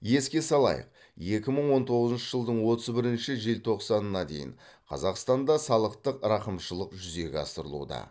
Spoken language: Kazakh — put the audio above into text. еске салайық екі мың он тоғызыншы жылдың отыз бірінші желтоқсанына дейін қазақстанда салықтық рақымшылық жүзеге асырылуда